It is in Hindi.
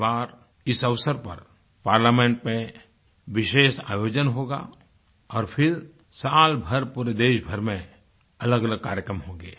इस बार इस अवसर पर पार्लियामेंट में विशेष आयोजन होगा और फिर साल भर पूरे देशभर में अलगअलग कार्यक्रम होंगे